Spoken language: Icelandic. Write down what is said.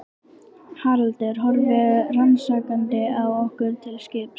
Haraldur horfir rannsakandi á okkur til skiptis.